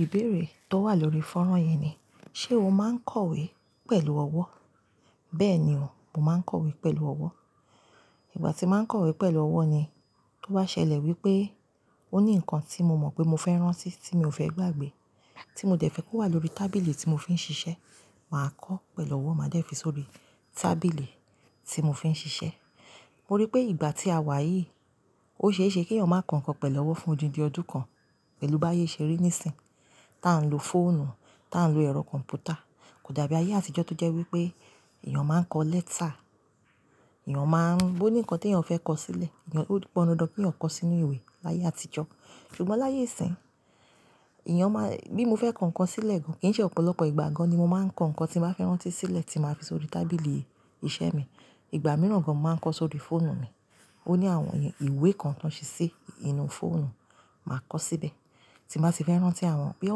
Ìbéèrè tó wà lórí fọ́nrán yii ni "ṣé o máa ń kọ̀wé pẹ̀lú ọwọ́?" Bẹ́ẹ̀ ni o, mo máa ń kọ̀wé pẹ̀lú ọwọ́. Ìgbà tí mo máa ń kọ̀wé pẹ̀lú ọwọ́ ni, tó bá ṣẹlẹ̀ wípé ó ní nǹkan tí mo mọ̀ pé mo fẹ́ rán sí, tí mi ò fẹ́ gbàgbé, tí mo dẹ̀ fẹ́ kó wà lórí tábìlì tí mo fi ń ṣiṣẹ́, màá kọ́ pẹ̀lú ọwọ́, màá dẹ̀ fi sórí tábìlì tí mo fi ń ṣiṣẹ́. Mo rí pé ìgbà tí a wà yìí, ó ṣe é ṣe kí èèyàn máa kọ nǹkan pẹ̀lú ọwọ́ fún odindi ọdún kan pẹ̀lú bá ayé ìṣeré nísìń, tá ń lo fóònù, tá ń lo ẹ̀rọ kọ̀m̀pútà. Kò dàbí ayé àtijọ́ tó jẹ́ wípé èèyàn máa ń kọ lẹ́tà, èèyàn máa ń bó ní nǹkan tí èèyàn fẹ́ kọ sílẹ̀, èèyàn ó pọ́n dandan kí èèyàn kọ sí inú ìwé láyé àtijọ́. Ṣùgbọ́n láyé ìsín, èèyàn má-- bí mo fẹ́ kọ nǹkan sílẹ̀ gan, kí í ṣẹ ọ̀pọ̀lọpọ̀ ìgbà gan ni mo máa ń kọ nǹkan tí mo bá fẹ́ rán tí sílẹ̀ tí màá fi sórí tábìlì iṣẹ́ mi. Ìgbà mìíràn gan mo màá ń kọ sórí fóònù mi. Ó ní àwọn ìwé kan tí wọ́n ṣe sí inú fóònù, màá kọ síbẹ̀. Tí màá sì fẹ́ rán tí àwọn-- bóyá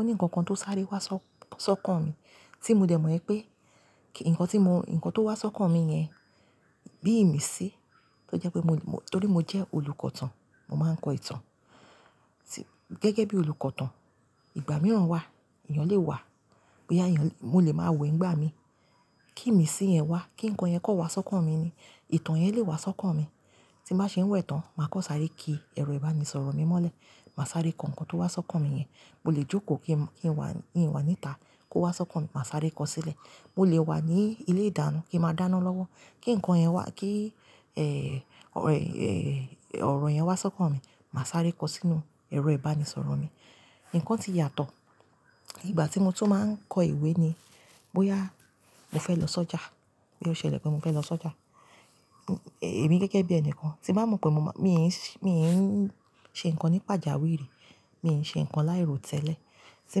ó ní nǹkan kan tó sáré wá sọ́, sọ́kàn mi, tí mo dẹ̀ mọ̀ pé kí-- nǹkan tí mo, nǹkan tó wá sọ́kàn mi yẹn bí ìmi sí, tó jẹ́ pé mo, mo, torí mo jẹ́ olùkọ̀tàn, mo máa ń kọ ìtàn. Gẹ́gẹ́ bí olùkọ̀tàn, ìgbà mìíràn wà, èèyàn lè wà, bóyá èèyàn-- mo lè máa wẹ̀ ńgbà mi, kí ìmi sí yẹn wá, kí nǹkan yẹn kàn wá sọ́kàn mi ni, ìtàn yẹn lè wá sọ́kàn mi. Tí màá ṣe ń wẹ̀ tàn, màá kàn sáré kí ẹ̀rọ ìbánisọ̀rọ̀ mi mọ́lẹ̀, màá sáré kọ nǹkan tó wá sọ́kàn mi yẹn. Mo lè jókòó kí n wà, wà níta kó wá sọ́kàn mi, mà sáré kọ sílẹ̀. Mo lè wà ní ilé-ìdáná kí màá dáná lọ́wọ́, kí nǹkan yẹn wá, kí, eh, ọ̀rọ̀, eh, ọ̀rọ̀ yẹn wá sọ́kàn mi, mà sáré kọ sínú ẹ̀rọ ìbánisọ̀rọ̀ mi. Nǹkan ti yàtọ̀. Ìgbà tí mo tún máa ń kọ ìwé ni, bóyá mo fẹ́ lọ sọ́jà, bóyá ó ṣẹlẹ̀ pé mo fẹ́ lọ sọ́jà, èmi gẹ́gẹ́ bí ẹnìkan, tí bá mọ̀ pé mo má-- mi n ṣè, mi n ṣe nǹkan nípa ìjàwé rí, mi n ṣe nǹkan láì ro tẹ́lẹ̀, tí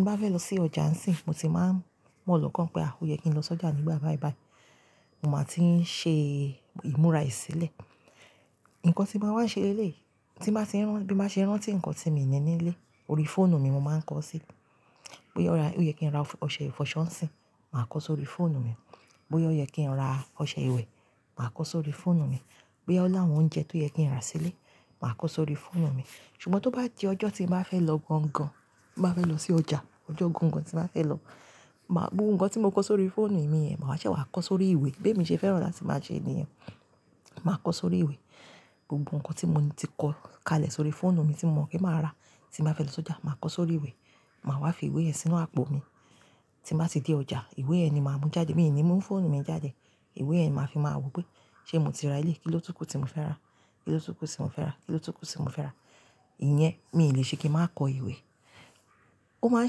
mo bá fẹ́ lọ sí ọjà ńsìn, mo ti máa ń mọ́ lọ̀kan pé, "à, ó yẹ kí n lọ sọ́jà nígbà báí báí." Mo máa ti ń ṣe ìmúra ẹ sílẹ̀. Nǹkan tí màá wá ṣe léèlé, tí màá ti ń rán, bí màá ṣe rán tí nǹkan tí mi ní nílé, orí fóònù mi mo máa ń kọ sí i. Bóyá ó ra, ó yẹ kí n ra ọṣẹ ìfọṣọ ńsìn, màá kọ sórí fóònù mi. Bóyá ó yẹ kí n ra ọṣẹ ìwẹ̀, màá kọ sórí fóònù mi. Bóyá ó láwọn oúnjẹ tó yẹ kí n rà sílé, màá kọ sórí fóònù mi. Ṣùgbọ́n tó bá di ọjọ́ tí mo bá fẹ́ lọ gangan, tí mo bá fẹ́ lọ sí ọjà, ọjọ́ gangan tí màá fẹ́ lọ, màá gbé nǹkan tí mo kọ sórí fóònù mi yẹn, màá ṣe wàá kọ sórí ìwé. Bí èmi ṣe fẹ́ràn láti máa ṣe nìyẹn, màá kọ sórí ìwé. Gbogbo nǹkan tí mo ti kọ kalẹ̀ sórí fóònù mi tí mo mọ̀ pé màá rà tí n bá fẹ́ lọ sọ́jà, màá kọ sórí ìwé, màá wá fi ìwé yẹn sínú àpò mi. Tí n bá dé ọjà, ìwé yẹn ni màá mú jáde, mi ò ní mú fóònù mi jáde. Ìwé yẹn ni màá fi máa wò pé ṣé mo ti ra elé, kí ló tún kú tí mo fẹ́ rà? Kí ló túkú tí mo fẹ́ rà? Kí ló túkú tí mo fẹ́ rà? Ìyẹn mi ò le ṣe kí màá kọ ìwé. Ó máa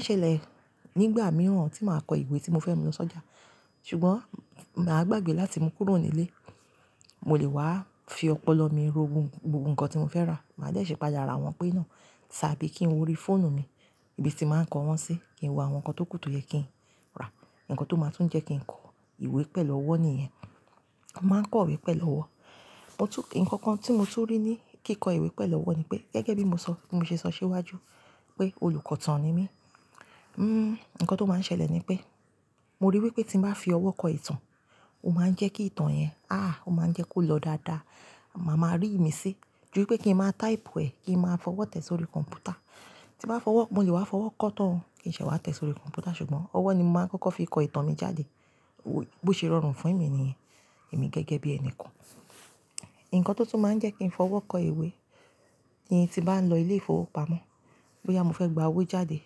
ń ṣẹlẹ̀ nígbà mìíràn tí màá kọ ìwé tí mo fẹ́ mú lọ sọ́jà. Ṣùgbọ́n màá gbàgbé láti mú kúrò nílé. Mo lè wá fi ọpọlọ mi ro gbogbo nǹkan tí mo fẹ́ rà, màá dẹ́ ṣi pàdà ra wọn pé náà. Tàbí kí n wo orí fóònù mi ibi tí màá ń kọ wọ́n sí, kí n wo àwọn nǹkan tó kù tó yẹ kí n rà. Nǹkan tó máa tún jẹ́ kí n kọ ìwé pẹ̀lú ọwọ́ nìyẹn. Mo máa ń kọ̀wé pẹ̀lú ọwọ́. Mo tún-- nǹkan kan tí mo tún rí ní kíkọ ìwé pẹ̀lú ọwọ́ ni pé, gẹ́gẹ́ bí mo sọ, bí mo ṣe sọ síwájú pé olùkọ̀tàn ni mí, n, nǹkan tó máa ń ṣẹlẹ̀ ni pé mo ríi wípé tí mo bá fi ọwọ́ kọ ìtàn, ó máa ń jẹ́ kí ìtàn yẹn, à, ó máa ń jẹ́ kó lọ dáadáa. Màá máa rí ìmi sí. Júwi pé kí n máa táìpù ẹ̀, kí n máa fọwọ́ tẹ̀ sórí kọ̀m̀pútà. Tí màá fọwọ́, mo lè wá fọwọ́ kọ́ tán, kí n ṣe wá tẹ̀ sórí kọ̀m̀pútà. Ṣùgbọ́n ọwọ́ ni màá kọ́kọ́ fi kọ ìtàn mi jáde. Bo, bó ṣe rọrùn fún èmi nìyẹn, èmi gẹ́gẹ́ bí ẹnìkan. Ǹkan tó tún máa ń jẹ́ kí n fọwọ́ kọ ìwé ni tí bá ń lọ ilé-ìfowópamọ́, bóyá mo fẹ́ gba owó jáde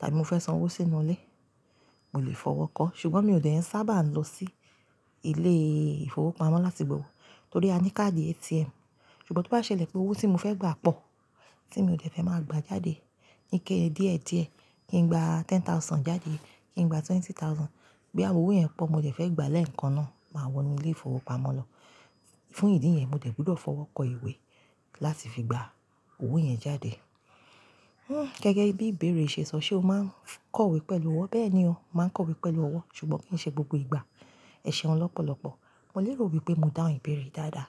tàbí mo fẹ́ san owó sínú ilé, mo lè fọwọ́ kọ́. Ṣùgbọ́n mi ò dẹ̀ ẹn sábà ń lọ sí ilé-ìfowópamọ́ láti gba owó torí a ní káàdì ATM. Ṣùgbọ́n tó bá ṣẹlẹ̀ pé owó tí mo fẹ́ gbà pọ̀, tí mi ò dẹ̀ fẹ́ máa gba jáde níké díẹ̀ díẹ̀, kí n gba ten thousand jáde, kí n gba twenty thousand, bí àwọn owó yẹn pọ̀ mo dẹ̀ fẹ́ gbà lẹ́ẹ̀kan náà, màá wọ inú ilé-ìfowópamọ́ lọ. Fún ìdí yẹn, mo dẹ̀ gbọdọ̀ fọwọ́ kọ ìwé láti fi gba owó yẹn jáde. Hmm, gẹ́gẹ́ bí ìbéèrè ṣe sọ "ṣé o máa ń kọ̀wé pẹ̀lú ọwọ́?" Bẹ́ẹ̀ ni o, màá ń kọ̀wé pẹ̀lú ọwọ́. Ṣùgbọ́n kì í ṣe gbogbo ìgbà. Ẹ̀ṣẹ̀ un lọ́pọ̀lọpọ̀. Mo lérò wípé mo dáhùn ìbéèrè dáadáa.